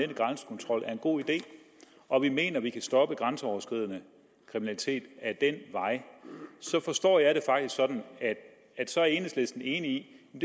grænsekontrol er en god idé og vi mener at vi kan stoppe grænseoverskridende kriminalitet ad den vej forstår jeg det faktisk sådan at så er enhedslisten enig i